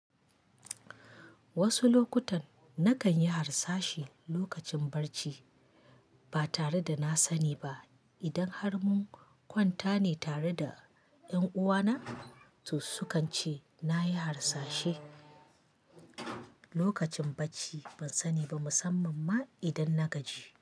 Wasu lokutan nakan yi harsashi lokacin bacci ba tare da na sani ba. Idan har mun kwanta ne tare da ƴan uwana su kance nayi harsashi lokacin bacci ban sani ba musamman ma idan na gaji.